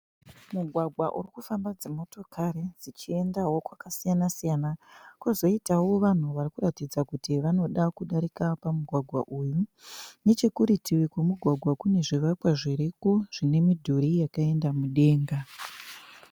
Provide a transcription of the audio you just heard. Mugwagwa urikufamba dzimotokari dzichiendawo kwakasiyana siyana. Kozoitawo vanhu varikuratidza kuti vanoda kudarika pamugwagwa uyu. Nechekurutivi kwemugwagwa kune zvivakwa zviriko zvine midhuri yakenda mudenga.